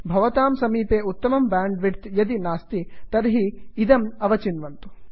भवतां समीपे उत्तमं ब्यांड् विड्थ् यदि नास्ति तर्हि इदम् अवचिन्वन्तु